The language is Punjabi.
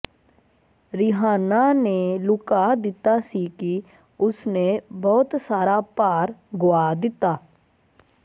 ਰੀਹਾਨਾ ਨੇ ਲੁਕਾ ਦਿੱਤਾ ਸੀ ਕਿ ਉਸਨੇ ਬਹੁਤ ਸਾਰਾ ਭਾਰ ਗੁਆ ਦਿੱਤਾ